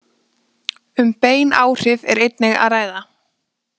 Um bein áhrif er einnig að ræða.